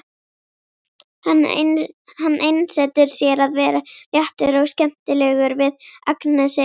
Hann einsetur sér að vera léttur og skemmtilegur við Agnesi.